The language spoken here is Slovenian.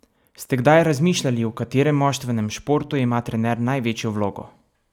Ste kdaj razmišljali, v katerem moštvenem športu ima trener največjo vlogo?